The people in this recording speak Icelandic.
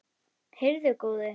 Heyrðu góði.